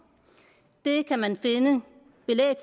det kan man finde belæg